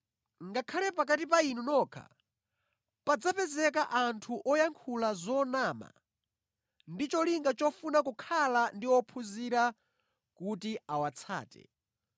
Ngakhale pakati pa inu nokha padzapezeka anthu oyankhula zonama ndi cholinga chofuna kukhala ndi ophunzira kuti awatsate.